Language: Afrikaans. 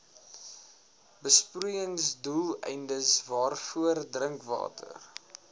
besproeiingsdoeleindes waarvoor drinkwater